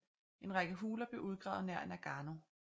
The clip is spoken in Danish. En række huler blev udgravet nær Nagano